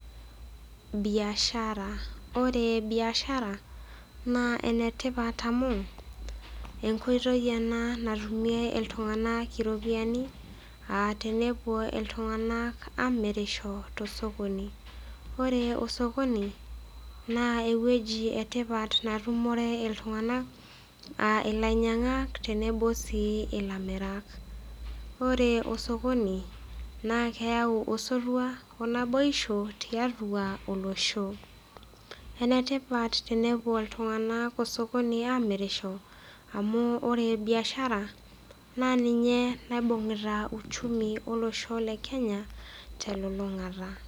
Biashara ore biashara naa enetipat amu enkoitoi ena natumie iltung'ana iropiani a tenewuo iltung'ana amirisho tosokoni. Ore osokoni naa ewueji etipat natumore iltung'ana a ilainyang'ak tenebo sii ilamirak. Ore osokoni naa keyau osotua onaboisho tiatua olosho. Enetipat tenewuo iltung'ana osokoni amirisho amu ore biashara naa ninye naibung'ita uchumi olosho le Kenya telulung'ata.